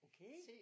Okay?